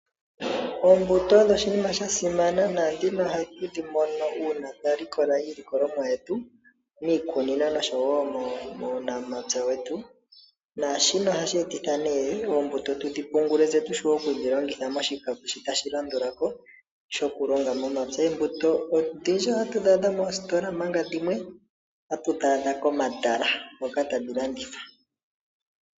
Oombuto odho oshinima sha simana nohatu dhi mono uuna twa likola iilikolomwa yetu miikunino noshowo muunamapya wetu. Shika ohashi etitha oombuto tudhi pungule tse tu vule okudhi tula moshikako shi tashi landula ko shokulonga momapya. Oombuto odhindji otatu dhi adha moositola, omanga dhimwe otatu dhi adha komatala hoka tadhi landithwa.